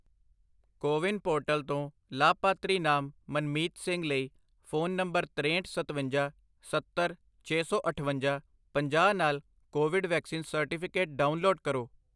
CoWIN portal ਤੋਂ ਲਾਭਪਾਤਰੀ ਨਾਮ ਮਨਮੀਤ ਸਿੰਘ ਲਈ ਫ਼ੋਨ ਨੰਬਰ ਤਰੇਹਠ, ਸਤਵੰਜਾ, ਸੱਤਰ, ਛੇ ਸੌ ਅਠਵੰਜਾ, ਪੰਜਾਹ ਨਾਲ ਕੋਵਿਡ ਵੈਕਸੀਨ ਸਰਟੀਫਿਕੇਟ ਡਾਊਨਲੋਡ ਕਰੋ